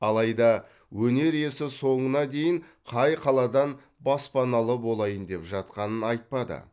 алайда өнер иесі соңына дейін қай қаладан баспаналы болайын деп жатқанын айтпады